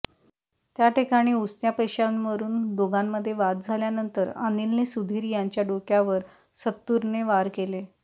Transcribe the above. त्याठिकाणी उसन्या पैशांवरून दोघांमध्ये वाद झाल्यानंतर अनिलने सुधीर यांच्या डोक्यावर सत्तूरने वार केले